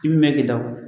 I bi mɛn k'i da o